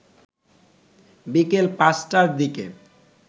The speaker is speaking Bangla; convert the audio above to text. বিকেল ৫টার দিকে